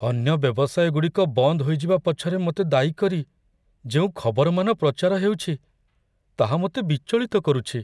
ଅନ୍ୟ ବ୍ୟବସାୟଗୁଡ଼ିକ ବନ୍ଦ ହୋଇଯିବା ପଛରେ ମୋତେ ଦାୟୀ କରି ଯେଉଁ ଖବରମାନ ପ୍ରଚାର ହେଉଛି, ତାହା ମୋତେ ବିଚଳିତ କରୁଛି।